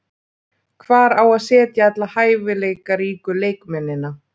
Hvar á að setja alla hæfileikaríku leikmennina?